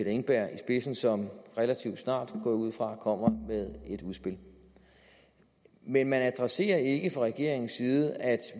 engberg i spidsen som relativt snart går jeg ud fra kommer med et udspil men man adresserer ikke fra regeringens side at